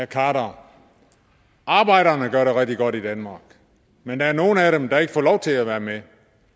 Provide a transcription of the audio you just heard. khader arbejderne gør det rigtig godt i danmark men der er nogle af dem der ikke får lov til at være med